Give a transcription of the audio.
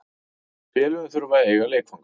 Félögin þurfa að eiga leikvangana.